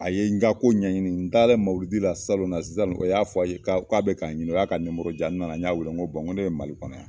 A ye n ka ko ɲɛɲini n taara mawuludi la salon la sisan o y'a fɔ a ye ka be ka n ɲini , u y'a ka n nana n y'a wele n ko n ko ne be mali kɔnɔ yan.